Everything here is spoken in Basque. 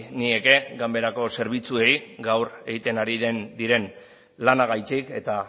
nieke ganberako zerbitzuei gaur egiten ari diren lanagatik eta